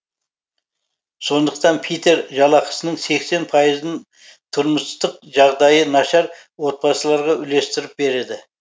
сондықтан питер жалақысының сексен пайызын тұрмыстық жағдайы нашар отбасыларға үлестіріп береді